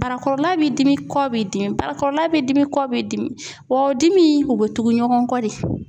barakɔrɔla bɛ dimi kɔ bɛ dimi ,barakɔrɔla bɛ dimi kɔ bɛ dimi , wa dimi in , u bɛ tugu ɲɔgɔn kɔ de